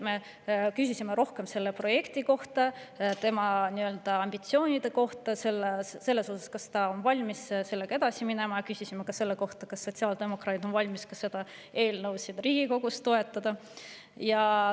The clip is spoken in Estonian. Me küsisime rohkem selle projekti kohta, tema ambitsioonide kohta selles osas, kas ta on valmis sellega edasi minema, ja küsisime ka selle kohta, kas sotsiaaldemokraadid on valmis seda eelnõu siin Riigikogus toetama.